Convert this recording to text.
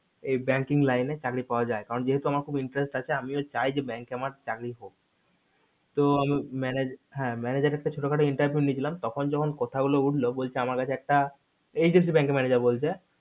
এই banking line চাকরি পাওয়া যায় কারণ যেহেতু আমার খুব interest আসে আমিও চাই যে bank আমার চাকরি হোক তো manager manager একটা ছোট খাটো একটা interview নিলাম তখন যখন কথা গুলো উঠলো তখন বলছে যে আমার কাছে একটা ICC bank এর manager বলছে